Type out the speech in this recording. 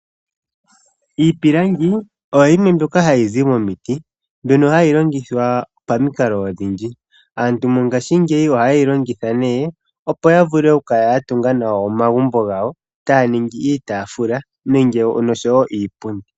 Iipilangi oyo yimwe mbyoka hayizi momiti mbyono hayi longithwa pamikalo odhindji. Aantu ngaashingeyi ohayeyi longitha nee opo yavule okukala yatunga nawa omagumbo gawo taya ningi iitaafula noshowo iipundi